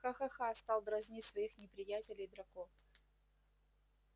ха-ха-ха стал дразнить своих неприятелей драко